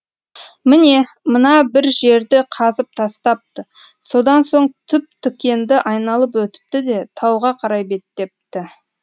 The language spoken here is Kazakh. міне мына бір жерді қазып тастапты содан соң түп тікенді айналып өтіпті де тауға қарай беттепті